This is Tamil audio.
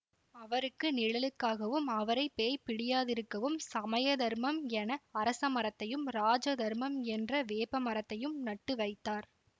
அவருக்கு நிழலுக்காகவும் அவரை பேய் பிடியாதிருக்கவும் சமய தர்மம் என அரச மரத்தையும் ராஜ தர்மம் என்ற வேப்ப மரத்தையும் நட்டுவைத்தார்